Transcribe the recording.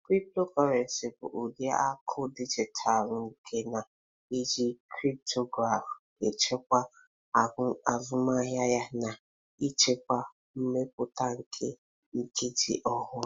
Cryptocurrency bụ ụdị akụ dijitalụ nke na-eji cryptography chekwaa azụmahịa ya na ịchịkwa mmepụta nke nkeji ọhụrụ.